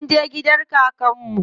Munje gidan kakar mu.